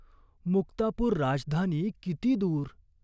मुक्तापूर राजधानी किती दूर.